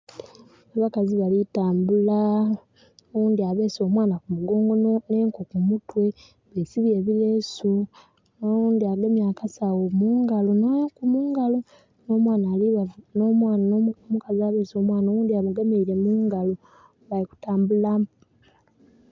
Abakazi bali tambula. Oghundi abeese omwana ku mugongo nh'enku ku mutwe. Besibye ebilesu. Oghundhi agemye akasawo mungalo nh'enku mungalo. Nh'omwana... omukazi abeese omwana oghundhi amugemeile mu ngalo. Bali kutambula.